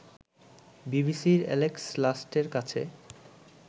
বিবিসির এ্যালেক্স লাস্টের কাছে